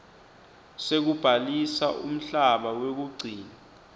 sekubhalisa umhlaba wekugcina